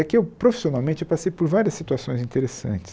É que eu profissionalmente passei por várias situações interessantes.